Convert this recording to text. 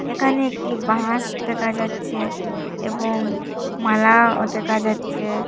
একানে একটি বাস দেখা যাচ্ছে এবং মালাও দেকা যাচ্ছে।